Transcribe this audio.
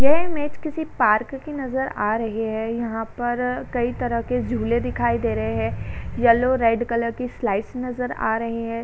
यह इमेज किसी पार्क की नजर आ रही है। यहां पर कई तरह के झूले दिखाई दे रहे हैं। येलो रेड कलर की स्लाइड्स नजर आ रहे हैं।